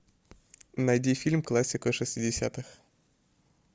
найди фильм классика шестидесятых